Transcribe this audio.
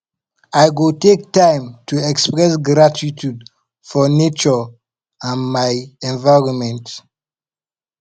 i go take time to express gratitude for nature and my environment